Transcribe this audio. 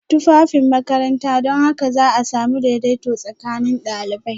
Tufafin makaranta don haka za a sami daidaito tsakanin ɗalibai